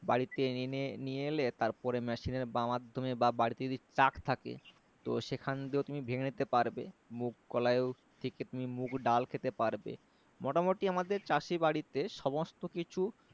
বাড়িতে এনে নিয়ে এলে তারপরে machine এর মাধমে বা বাড়ীতে যদি truck থাকে তো সেখান দিয়েও তুমি ভেঙে নিতে পারবে মুগ কলাইও সেক্ষেত্রে তুমি মুগ ডালও খেতে পারবে মোটামোটি আমাদের চাষী বাড়িতে সমস্ত কিছু